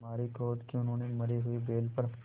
मारे क्रोध के उन्होंने मरे हुए बैल पर